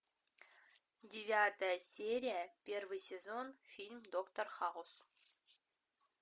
девятая серия первый сезон фильм доктор хаус